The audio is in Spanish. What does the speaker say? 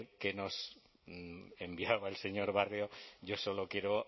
que nos enviaba el señor barrio yo solo quiero